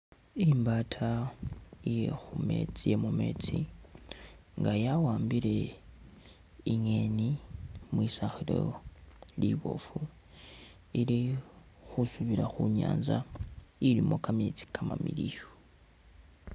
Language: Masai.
Imbaata iye khumeetsi iye mumeetsi nga yawambile ingeni mwisakhilo liboofu ili khusubila khu'nyanza ilimo kameetsi kamamiliyu